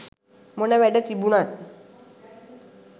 මොන වැඩ තිබුනත්